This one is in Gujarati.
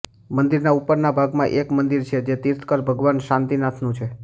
મંદિરના ઉપરના ભાગમાં એક મંદિર છે જે તીર્થકર ભગવાન શાંતિનાથનું છે